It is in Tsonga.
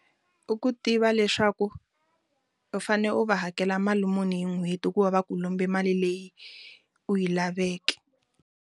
U ku tiva leswaku u fane u va hakela mali muni hi n'hweti ku va ku lombi mali leyi u yi laveke.